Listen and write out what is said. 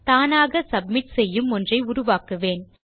தானாக சப்மிட் செய்யும் ஒன்றை உருவாக்குவேன்